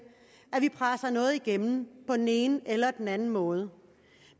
at vi presser noget igennem på den ene eller den anden måde